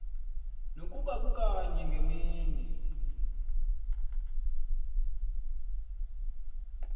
nokuba kukanye ngemini